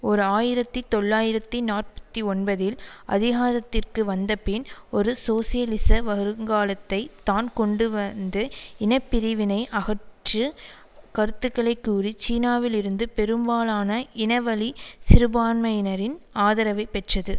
ஓர் ஆயிரத்தி தொள்ளாயிரத்தி நாற்பத்தி ஒன்பதில் அதிகாரத்திற்கு வந்தபின் ஒரு சோசியலிச வருங்காலத்தை தான் கொண்டுவந்து இன பிரிவினை அகற்று கருத்துக்களைக்கூறி சீனாவில் இருந்து பெரும்பாலான இனவழி சிறுபான்மையினரின் ஆதரவை பெற்றது